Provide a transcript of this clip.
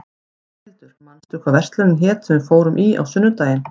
Rafnhildur, manstu hvað verslunin hét sem við fórum í á sunnudaginn?